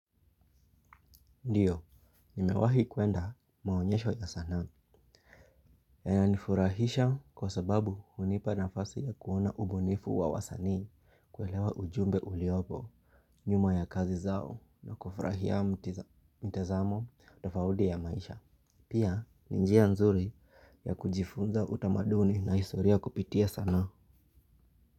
Ndiyo, nimewahi kuenda maonyesho ya sanaa. Inanifurahisha kwa sababu hunipa nafasi ya kuona ubunifu wa wasanii kuelewa ujumbe uliopo, nyuma ya kazi zao na kufurahia mtizamo tofaudi ya maisha. Pia, ni njia nzuri ya kujifunza utamaduni na historia kupitia sanaa.